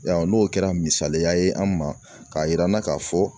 Yarɔ n'o kɛra misaliya ye an ma k'a yir'an na k'a fɔ